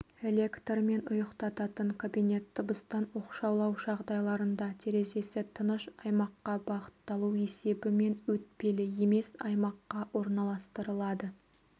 электрмен ұйықтататын кабинет дыбыстан оқшаулау жағдайларында терезесі тыныш аймаққа бағытталу есебімен өтпелі емес аймаққа орналастырылады